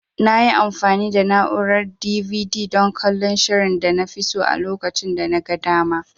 Nayi amfani da na'urar DVD dan kallon shirin danafi so a lokacin danaga dama.